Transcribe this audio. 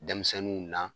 Denmisɛnninw na